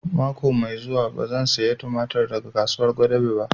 Mako mai zuwa ba zan saya tumatir daga kasuwar Gwadabe ba